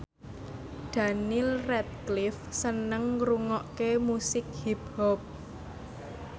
Daniel Radcliffe seneng ngrungokne musik hip hop